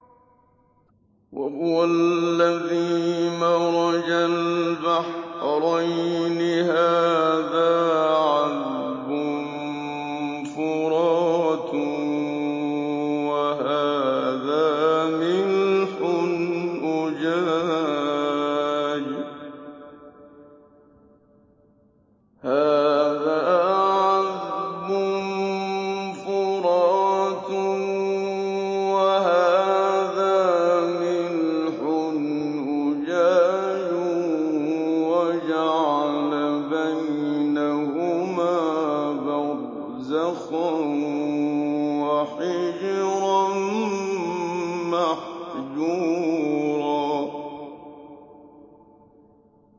۞ وَهُوَ الَّذِي مَرَجَ الْبَحْرَيْنِ هَٰذَا عَذْبٌ فُرَاتٌ وَهَٰذَا مِلْحٌ أُجَاجٌ وَجَعَلَ بَيْنَهُمَا بَرْزَخًا وَحِجْرًا مَّحْجُورًا